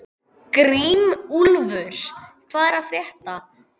Grímúlfur, hvað er að frétta?